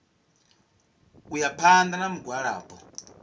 u ya phanḓa na mugwalabo